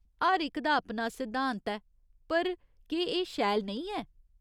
हर इक दा अपना सिद्धांत ऐ, पर केह् एह् शैल नेईं ऐ ?